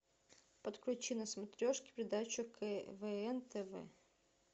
подключи на смотрешке передачу квн тв